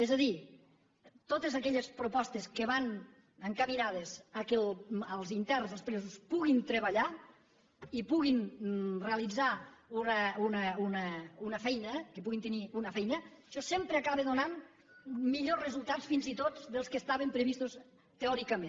és a dir totes aquelles propostes que van encaminades que els interns els presos puguin treballar i puguin realitzar una feina que puguin tenir una feina això sempre acaba donant millors resultats fins i tot que els que estaven previstos teòricament